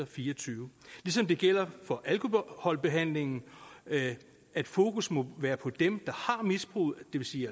fire og tyve ligesom det gælder for alkoholbehandlingen at fokus må være på dem der har misbruget det vil sige